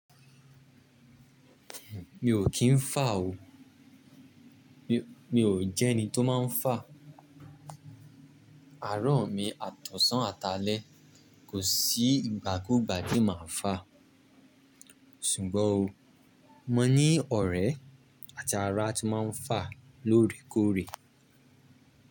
Mi ò kí ń fà o. Mi, mi ò jẹ́ ẹni tó máa ń fà. Àárọ̀ mi àtọ̀sàn àtàlẹ̀ kò sí ìgbàkúgbà tí màá fà. Ṣùgbọ́n o, mo ní ọ̀rẹ́ àti ará tí máa ń fà lóòrèkóòrè.